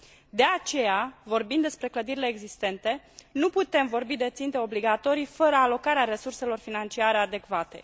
De aceea, vorbind despre clădirile existente, nu putem vorbi de ținte obligatorii fără alocarea resurselor financiare adecvate.